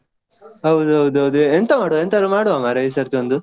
ಹೌದೌದು ಅದೇ ಎಂತ ಮಾಡ್ವ ಎಂತಾದ್ರೂ ಮಾಡ್ವ ಮಾರಯಾ ಈ ಸತಿ ಒಂದು.